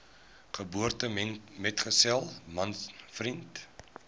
geboortemetgesel man vriend